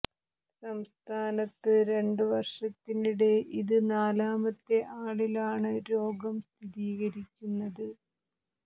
സംസ്ഥാനത്ത് രണ്ടു വർഷത്തിനിടെ ഇത് നാലാമത്തെ ആളിലാണ് രോഗം സ്ഥിരീകരിക്കുന്നത്